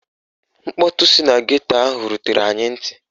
Mkpọtụ si na geto ahụ rutere anyị ntị